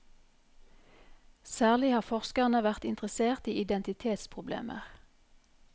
Særlig har forskerne vært interessert i identitetsproblemer.